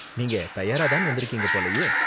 நீங்க தயாரா தான் வந்திருக்கீங்க போலயே.